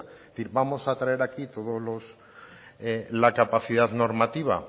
firmamos a traer aquí todos la capacidad normativa